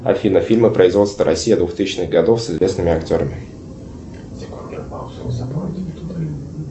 афина фильмы производства россия двухтысячных годов с известными актерами